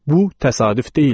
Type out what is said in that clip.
Bu təsadüf deyildi.